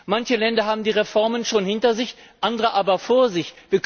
Manche Länder haben die Reformen schon hinter sich, andere aber vor sich.